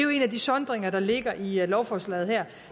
af de sondringer der ligger i lovforslaget her